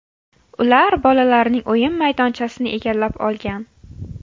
Ular bolalarning o‘yin maydonchasini egallab olgan.